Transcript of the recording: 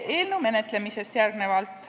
Eelnõu menetlemisest.